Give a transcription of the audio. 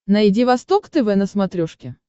найди восток тв на смотрешке